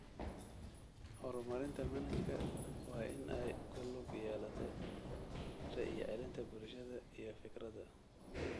Horumarinta manhajka waa in ay ku lug yeelato ra'yi-celinta bulshada iyo fikradda.